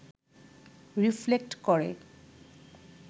reflect করে